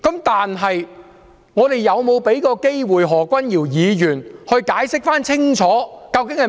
但是，我們是否有給何君堯議員機會解釋清楚？